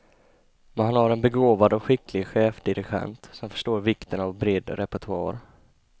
Man har en begåvad och skicklig chefdirigent som förstår vikten av bred repertoar.